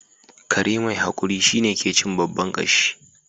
Kare mai hakuri shine ke cin babban kashi